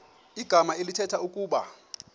igama elithetha ukuba